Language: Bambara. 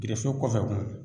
Gɛrɛfɛ kɔfɛ kun